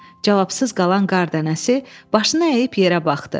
Cavabsız qalan qar dənəsi başını əyib yerə baxdı.